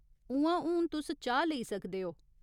उ'आं, हून तुस चाह् लेई सकदे ओ।